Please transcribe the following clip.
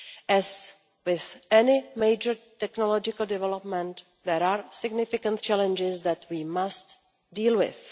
As with any major technological development, there are significant challenges that we must deal with.